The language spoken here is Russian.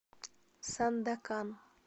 сандакан